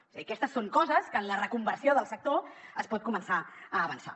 és a dir aquestes són coses que en la reconversió del sector es pot començar a avançar